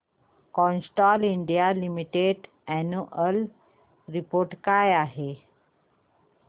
Castrol India Limited annual report दाखव